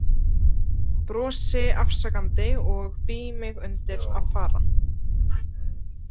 Brosi afsakandi og bý mig undir að fara.